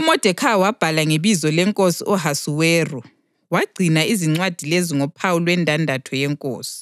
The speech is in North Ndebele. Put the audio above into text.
UModekhayi wabhala ngebizo leNkosi u-Ahasuweru, wangcina izincwadi lezo ngophawu lwendandatho yenkosi,